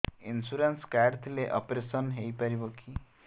insurance card ଥିଲେ operation ହେଇପାରିବ କି